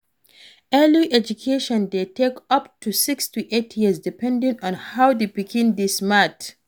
early education de take up to 6-8years depending on how the pikin de smart